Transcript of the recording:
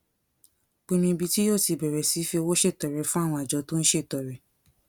pinnu ibi tí yóò ti bèrè sí fi owó ṣètọrẹ fún àwọn àjọ tó ń ṣètọrẹ